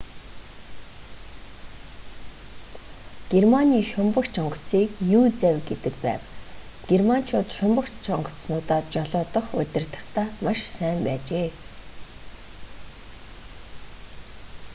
германы шумбагч онгоцыг u-завь гэдэг байв. германчууд шумбагч онгоцнуудаа жолоодох удирдахдаа маш сайн байжээ